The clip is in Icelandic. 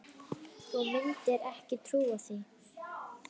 Þú mundir ekki trúa því.